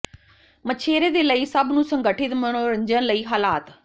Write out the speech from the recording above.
ਮਛੇਰੇ ਦੇ ਲਈ ਸਭ ਨੂੰ ਸੰਗਠਿਤ ਮਨੋਰੰਜਨ ਲਈ ਹਾਲਾਤ